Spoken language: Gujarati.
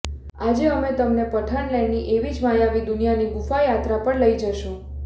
આજે અમે તમને પઠાણલેન્ડની એવી જ માયાવી દુનિયાની ગુફા યાત્રા પર લઈ જઈશું